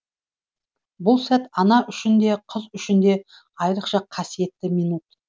бұл сәт ана үшін де қыз үшін де айрықша қасиетті минут